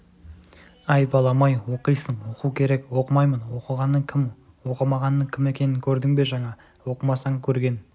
әй балам-ай оқисың оқу керек оқымаймын оқығанның кім оқымағанның кім екенін көрмедің бе жаңа оқымасаң көрген